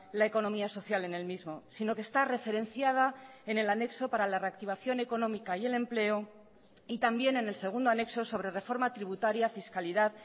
la economía social en el mismo sino que está referenciada en el anexo para la reactivación económica y el empleo y también en el segundo anexo sobre reforma tributaria fiscalidad